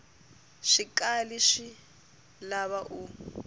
swi kali swi lava u